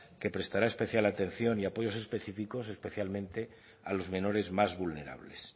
que prestará especial atención y apoyo específicos especialmente a los menores más vulnerables